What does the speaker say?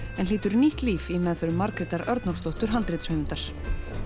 en fær nýtt líf í meðförum Margrétar Örnólfsdóttir handritshöfundar